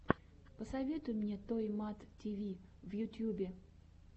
посоветуй мне той мат ти ви в ютьюбе